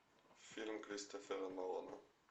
фильм кристофера нолана